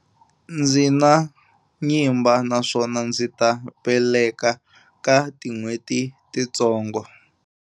Ndzi na nyimba naswona ndzi ta veleka ka tin'hweti titsongo.